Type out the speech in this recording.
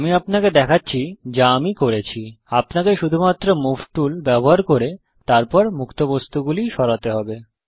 আমি আপনাকে দেখাচ্ছি যা আমি করেছি আপনাকে শুধুমাত্র মুভ টুল ব্যবহার করে তারপর মুক্ত বস্তুগুলি সরাতে হবে